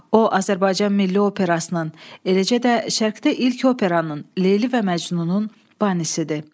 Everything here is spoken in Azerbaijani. O, Azərbaycan milli operasının, eləcə də Şərqdə ilk operanın Leyli və Məcnunun banisidir.